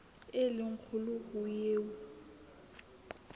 e le kgolo ho eo